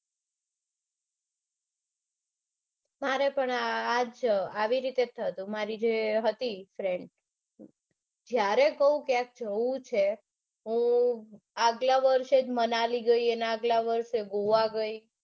મારે પણ આ જ આવી રીતે થતું. મારી જે હતી friend જયારે કૌ કે મારે જાઉં છે ક્યાંક તો આગળ વર્ષે મનાલી ગઈ ને આગળ વર્ષે ગોવા ગઈ.